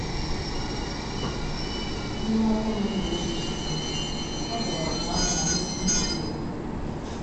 N’ime ọnwa ole na ole sochiri anya, ọ bịara doo anya na nnukwu nsogbu dị.